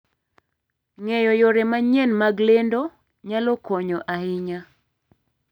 Ng'eyo yore manyien mag lendo nyalo konyo ahinya.